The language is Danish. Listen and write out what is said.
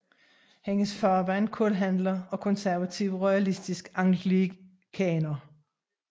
Hendes far var en kulhandler og konservativ royalistisk anglikaner